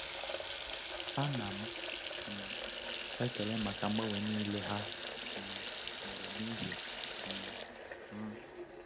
A na m um ekele maka mgbanwe niile ha um mere n’ihi um m.